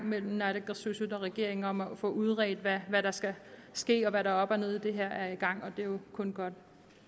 mellem naalakkersuisut og regeringen om at få udredt hvad der skal ske og hvad der er op og ned i det her er i gang og det er jo kun godt